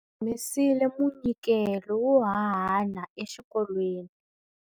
Humesile munyikelo wo hanana exikolweni.